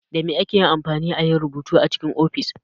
Dame ake amfani ayi rubutu a cikin ofis?